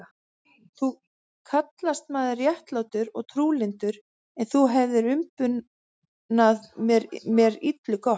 Þú kallast maður réttlátur og trúlyndur, en þú hefir umbunað mér illu gott.